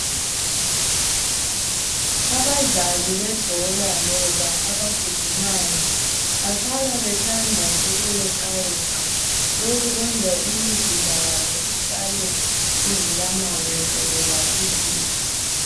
Abadlali bebhola loba abagijimayo bahlale bethanda ukuyeqayeqa okukwenza imizimba yabo isale ingela mashi izifo